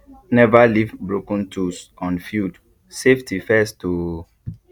never leave broken tools on field safety first o